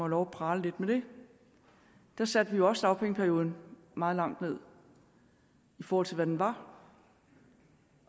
lov at prale lidt med det det satte vi også dagpengeperioden meget langt ned i forhold til hvad den var